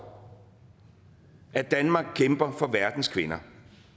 at danmark kæmper for verdens kvinder